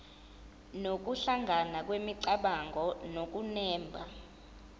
nokuhlangana kwemicabango nokunemba